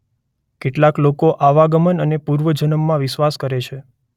કેટલાક લોકો આવાગમન અને પૂર્વજન્મમાં વિશ્વાસ કરે છે.